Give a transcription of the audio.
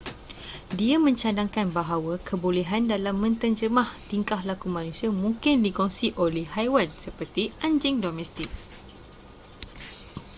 dia mencadangkan bahawa kebolehan dalam menterjemah tingkah laku manusia mungkin dikongsi oleh haiwan seperti anjing domestik